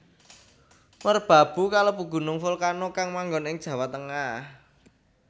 Merbabu kalebu gunung volcano kang manggon ing Jawa Tengah